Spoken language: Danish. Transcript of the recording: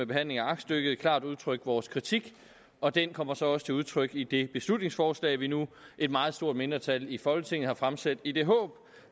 behandlingen af aktstykket klart udtrykt vores kritik og den kommer så også til udtryk i det beslutningsforslag vi nu et meget stort mindretal i folketinget har fremsat i det håb